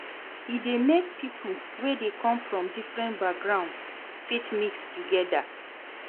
E de make pipo wey come from different backgroungs fit mix together